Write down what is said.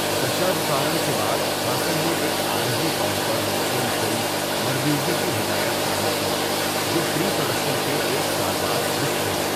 دشاوتارم کے بعد ہاسن نے ایک عارضی طور پر موسوم فلم مرمَیوگی کی ہدایت کاری کی، جو پری پروڈکشن کے ایک سال بعد رک گئی۔